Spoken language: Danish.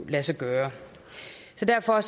lade sig gøre så derfor